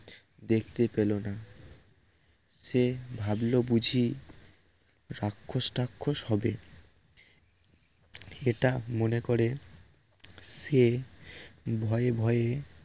দেখতে পেল না সে ভাবল বুঝি রাক্ষস টাক্ষস হবে এটা মনে করে সে ভয়ে ভয়ে